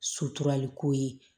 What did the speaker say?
ko ye